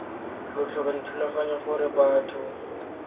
lo tlhoka dithulaganyo gore batho